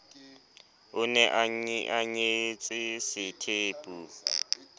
o ne a nyetse sethepu